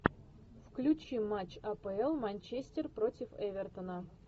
включи матч апл манчестер против эвертона